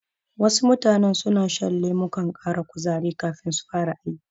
Wasu mutanen suna shan lemukan ƙara kuzari kafin su fara aiki.